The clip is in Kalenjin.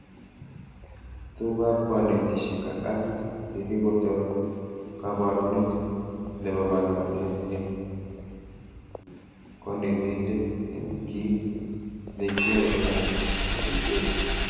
Tugukab konetishet ak appit neikotoi kabarunet nebanganat eng konetindet eng kit nekioe anan nekitebe